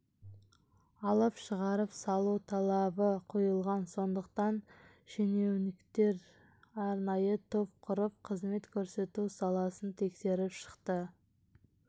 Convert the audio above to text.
алып шығарып салу талабы қойылған сондықтан шенеуніктер арнайы топ құрып қызмет көрсету саласын тексеріп шықты